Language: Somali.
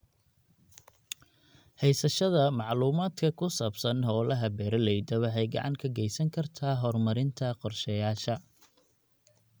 Haysashada macluumaadka ku saabsan hawlaha beeralayda waxay gacan ka geysan kartaa horumarinta qorshayaasha.